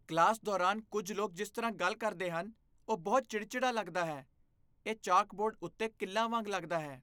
Class ਦੌਰਾਨ ਕੁੱਝ ਲੋਕ ਜਿਸ ਤਰ੍ਹਾਂ ਗੱਲ ਕਰਦੇ ਹਨ ਉਹ ਬਹੁਤ ਚਿੜਚਿੜਾ ਲੱਗਦਾ ਹੈ, ਇਹ ਚਾਕ ਬੋਰਡ ਉੱਤੇ ਕਿੱਲਾਂ ਵਾਂਗ ਲਗਦਾ ਹੈ।